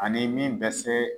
Ani min bɛ se